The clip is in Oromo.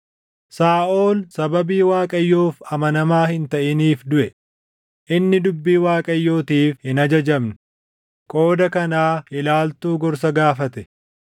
Saaʼol sababii Waaqayyoof amanamaa hin taʼiniif duʼe; inni dubbii Waaqayyootiif hin ajajamne; qooda kanaa ilaaltuu gorsa gaafate;